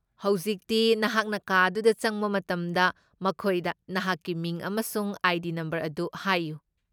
ꯍꯧꯖꯤꯛꯇꯤ, ꯅꯍꯥꯛꯅ ꯀꯥ ꯑꯗꯨꯗ ꯆꯪꯕ ꯃꯇꯝꯗ ꯃꯈꯣꯏꯗ ꯅꯍꯥꯛꯀꯤ ꯃꯤꯡ ꯑꯃꯁꯨꯡ ꯑꯥꯏ.ꯗꯤ. ꯅꯝꯕꯔ ꯑꯗꯨ ꯍꯥꯏꯌꯨ ꯫